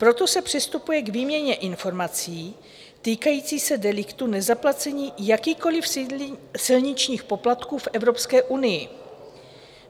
Proto se přistupuje k výměně informací týkající se deliktů nezaplacení jakýchkoli silničních poplatků v Evropské unii.